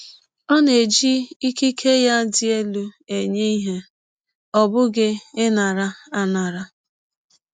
Ọ na-eji ikike ya dị elụ enye ihe, ọ bụghị ịnara anara